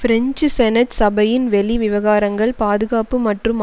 French senate சபையின் வெளிவிவகாரங்கள் பாதுகாப்பு மற்றும்